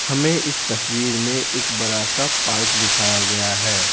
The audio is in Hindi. हमें इस तस्वीर में एक बड़ा सा पार्क दिखाया गया है।